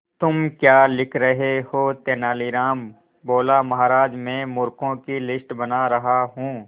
तुम क्या लिख रहे हो तेनालीराम बोला महाराज में मूर्खों की लिस्ट बना रहा हूं